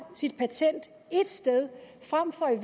sit patent ét sted frem for